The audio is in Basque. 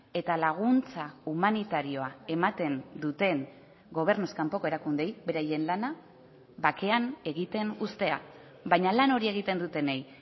eta laguntza humanitarioa ematen duten gobernuz kanpoko erakundeei beraien lana bakean egiten uztea baina lan hori egiten dutenei